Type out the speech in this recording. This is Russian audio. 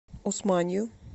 усманью